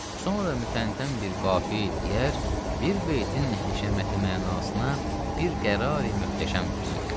Sonra mütəntən bir qafiyə deyər, bir beytin həşəməti mənasına bir qərari möhtəşəm versin.